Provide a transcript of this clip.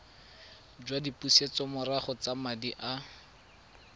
jwa dipusetsomorago tsa madi a